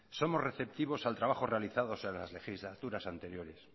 somos receptivos al trabajo realizado en las legislaturas anteriores